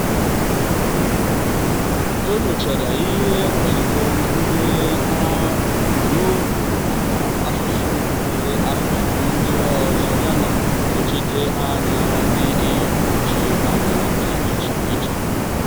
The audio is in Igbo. ọ nyochara ihe nkwalite ndi ahu ugboro abụọ maka asụsụ gụnyere asụsụ ndi ọzọ yana nnọchite anya dị nnọchite anya dị iche iche.